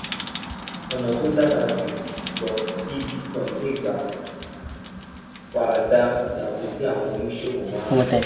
ọnà tó dára jù lọ tí bitcoin lè gbà fara da ìdààmú tí àwọn oníṣòwò máa